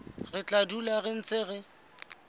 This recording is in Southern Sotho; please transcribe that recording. re tla dula re ntse